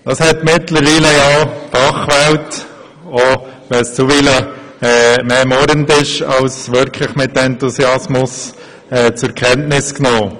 Das hat mittlerweile ja auch die Fachwelt zur Kenntnis genommen, selbst wenn das teilweise eher murrend als mit wirklichem Enthusiasmus geschehen ist.